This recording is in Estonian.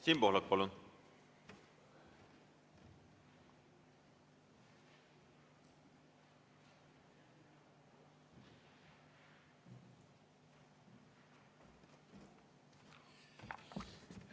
Siim Pohlak, palun!